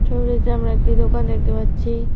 ছবিটাতে আমরা একটি দোকান দেখতে পাচ্ছি।